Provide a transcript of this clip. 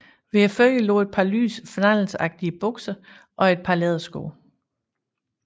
Ved fødderne lå et par lyse flanelsagtige bukser og et par lædersko